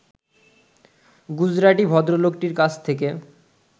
গুজরাটি ভদ্রলোকটির কাছ থেকে